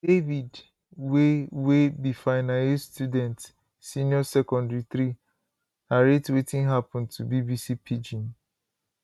david wey wey be final year student senior secondary three narrate wetin happun to bbc pidgin